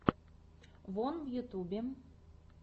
вон в ютьюбе